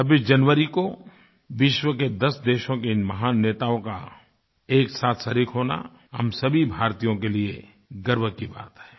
26 जनवरी को विश्व के 10 देशों के इन महान नेताओं का एक साथ शरीक़ होना हम सभी भारतीयों के लिए गर्व की बात है